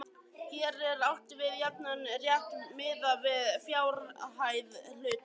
Hér er átt við jafnan rétt miðað við fjárhæð hluta.